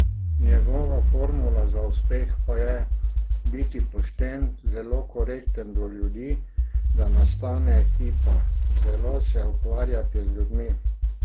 Njegova formula za uspeh pa je: "Biti pošten, zelo korekten do ljudi, da nastane ekipa, zelo se ukvarjati z ljudmi.